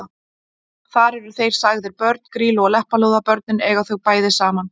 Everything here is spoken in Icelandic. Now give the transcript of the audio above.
Þar eru þeir sagðir börn Grýlu og Leppalúða: Börnin eiga þau bæði saman